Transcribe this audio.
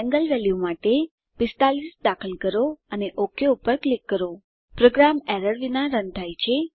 ખૂણા વેલ્યુ માટે 45 દાખલ કરો અને ઓક પર ક્લિક કરો પ્રોગ્રામ એરર્સ વિના રન થાય છે